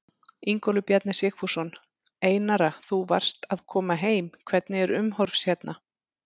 Ingólfur Bjarni Sigfússon: Einara þú varst að koma heim, hvernig er umhorfs hérna?